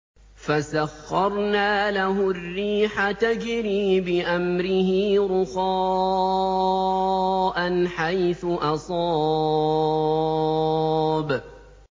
فَسَخَّرْنَا لَهُ الرِّيحَ تَجْرِي بِأَمْرِهِ رُخَاءً حَيْثُ أَصَابَ